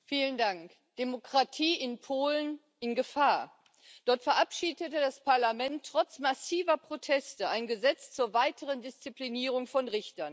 Herr Präsident! Demokratie in Polen in Gefahr! Dort verabschiedete das Parlament trotz massiver Proteste ein Gesetz zur weiteren Disziplinierung von Richtern.